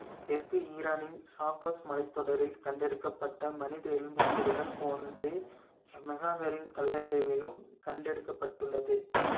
தெற்கு ஈரானின் சாக்ரோஸ் மலைத்தொடரில் கண்டெடுக்கப்பட்ட மனித எலும்புக்கூடுகள் போன்றே மெஹகரின் கல்லறைகளிலும் கண்டெடுக்கப்பட்டுள்ளது